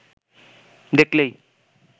দেখলেই